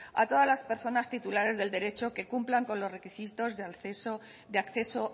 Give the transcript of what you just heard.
a todas las personas titulares del derecho que cumplan con los requisitos de acceso